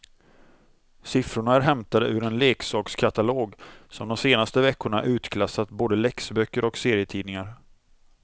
Siffrorna är hämtade ur en leksakskatalog som de senaste veckorna utklassat både läxböcker och serietidningar.